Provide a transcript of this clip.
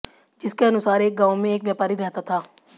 जिसके अनुसार एक गांव में एक व्यापारी रहता था